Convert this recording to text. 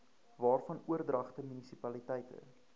waarvan oordragte munisipaliteite